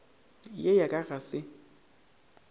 ye ya ka ga se